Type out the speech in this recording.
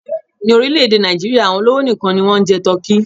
Ní orílẹ̀-èdè Nàìjíríà, àwọn olówó nìkan ni wọ́n ń jẹ tọ́kì.